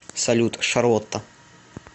салют шарлотта